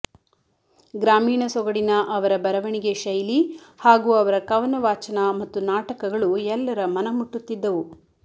ಗ್ರಾಮೀಣ ಸೊಗಡಿನ ಅವರ ಬರವಣಿಗೆ ಶೈಲಿ ಹಾಗೂ ಅವರ ಕವನ ವಾಚನ ಮತ್ತು ನಾಟಕಗಳು ಎಲ್ಲರ ಮನಮುಟ್ಟುತ್ತಿದ್ದವು